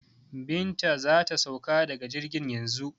Binta za ta sauka daga jirgin yanzu.